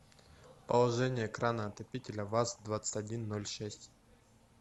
положение крана отопителя ваз двадцать один ноль шесть